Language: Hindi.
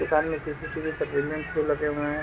दुकान में सी.सी.टी.वी. सेटलमेंट भी लगे हुए है।